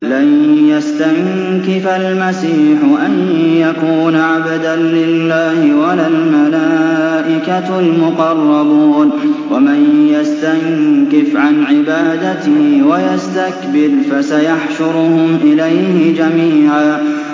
لَّن يَسْتَنكِفَ الْمَسِيحُ أَن يَكُونَ عَبْدًا لِّلَّهِ وَلَا الْمَلَائِكَةُ الْمُقَرَّبُونَ ۚ وَمَن يَسْتَنكِفْ عَنْ عِبَادَتِهِ وَيَسْتَكْبِرْ فَسَيَحْشُرُهُمْ إِلَيْهِ جَمِيعًا